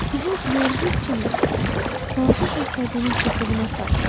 Qızıl bilərzik kimi balaca şahzadənin topuğuna sarıldı.